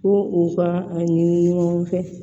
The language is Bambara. Ko u ka a ɲini ɲɔgɔn fɛ